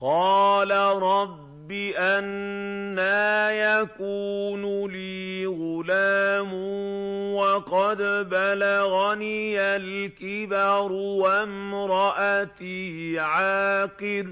قَالَ رَبِّ أَنَّىٰ يَكُونُ لِي غُلَامٌ وَقَدْ بَلَغَنِيَ الْكِبَرُ وَامْرَأَتِي عَاقِرٌ ۖ